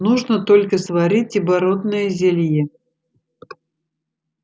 нужно только сварить оборотное зелье